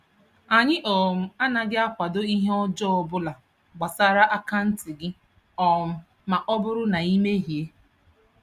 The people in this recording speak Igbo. Anyị um anaghị akwado ihe ọjọọ obula gbasara akaanti gị um ma ọ bụrụ na I mehiee